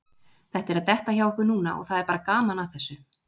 Þetta er að detta hjá okkur núna og það er bara gaman að þessu.